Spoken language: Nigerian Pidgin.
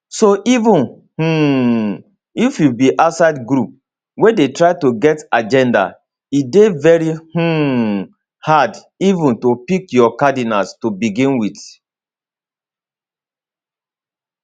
so even um if you be outside group wey dey try to get agenda e dey very um hard even to pick your cardinals to begin wit